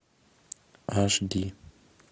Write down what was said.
ашди